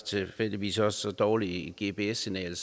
tilfældigvis også så dårligt et gps signal